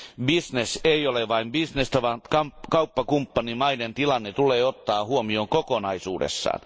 Bisnes ei ole vain bisnestä, vaan kauppakumppanimaiden tilanne tulee ottaa huomioon kokonaisuudessaan.